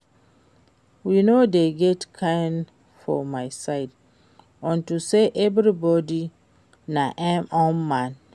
We no dey get King for my side unto say everybody na im own man